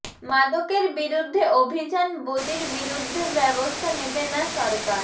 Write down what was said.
মাদকের বিরুদ্ধে অভিযান বদির বিরুদ্ধে ব্যবস্থা নেবে না সরকার